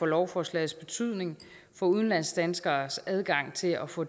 lovforslagets betydning for udlandsdanskeres adgang til at få